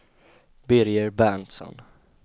Birger Berntsson